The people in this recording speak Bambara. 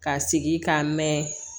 Ka sigi k'a mɛn